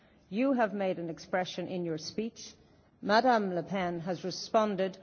You have used an expression in your speech. Ms Le Pen has responded.